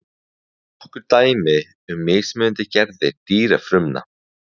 nokkur dæmi um mismunandi gerðir dýrafrumna